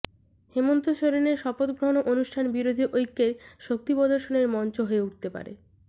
হেমন্ত সোরেনের শপথগ্রহণ অনুষ্ঠান বিরোধী ঐক্যের শক্তি প্রদর্শনের মঞ্চ হয়ে উঠতে পারে